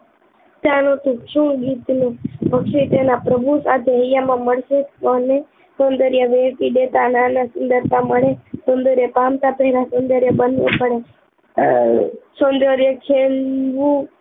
ચાલો તો શુ ગીતનું પક્ષી તેના પ્રભુ સાથે હૈયામાં મળશે સૌંદર્ય વેડફી દેતા નાના સુંદરતા મળે સૌંદર્ય પામતા પેલા સૌંદર્ય બનવુ પડે અ અ સૌંદર્ય છિનવુ